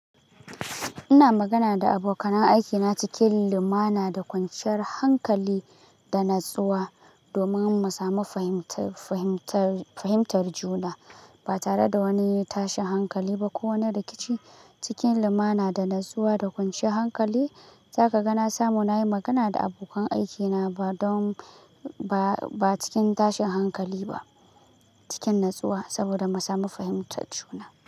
Ina magana da abokan aiki na cikin limana da kwanciyar hankali da natsuwa domin mu sami fahimtar juna ba tare da wani tashin hankali ba ko wani rikici cikin lumana da natsuwa da kwanciyar hankali. Zaka ga na samu na yi magana da abokan aiki na ba don ba cikin tashin hankali ba, cikin natsuwa saboda mu sami fahimtar juna.